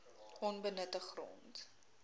onbenutte grond